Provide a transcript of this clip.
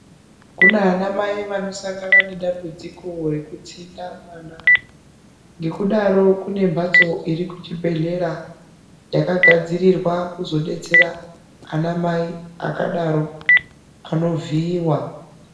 Kuna anamai vanosangana nedambudziko rekutsinda mwana. Ngekudaro kune mhatso iri kuchibhehlera yakagadzirirwa kuzodetsera ana mai akadaro anovhiiwa.